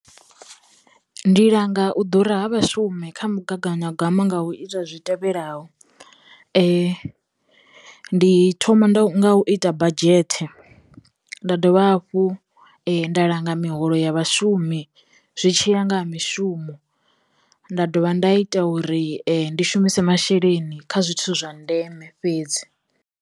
Ndi langa u ḓura ha vhashume kha mugaganyagwama nga u ita zwi tevhelaho, ndi thoma nda nga u ita badzhethe, nda dovha dovha hafhu nda langa miholo ya vhashumi zwi tshila nga ha mishumo, nda dovha nda ita uri ndi shumise masheleni kha zwithu zwa ndeme fhedzi.